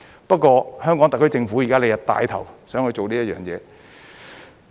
不過，香港特區政府現在想帶頭做這件事。